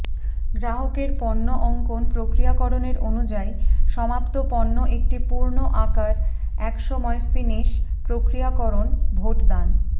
গ্রাহকের পণ্য অঙ্কন প্রক্রিয়াকরণের অনুযায়ী সমাপ্ত পণ্য একটি পূর্ণ আকার এক সময় ফিনিস প্রক্রিয়াকরণ ভোটদান